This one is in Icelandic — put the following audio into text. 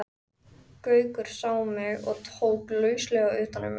Gaukur sá mig og tók lauslega utan um mig.